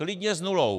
Klidně s nulou.